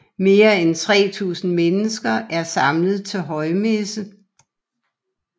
Mere end 3000 mennesker er samlet til højmesse